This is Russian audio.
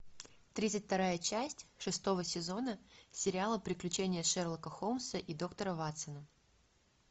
тридцать вторая часть шестого сезона сериала приключения шерлока холмса и доктора ватсона